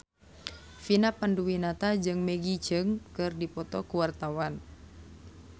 Vina Panduwinata jeung Maggie Cheung keur dipoto ku wartawan